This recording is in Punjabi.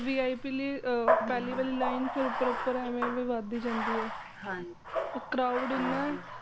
VIP ਲਈ ਪਹਿਲੀ ਵਾਲੀ line proper ਐਵੇਂ ਐਵੇ ਵਦਧੀ ਜਾਂਦੀ ਏ crowd ਇੰਨਾ ਏ